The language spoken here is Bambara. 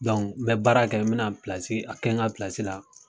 n bɛ baara kɛ mina a kɛ n ka la.